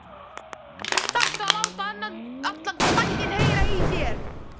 ÞARFTU AÐ LÁTA ALLAN BÆINN HEYRA Í ÞÉR!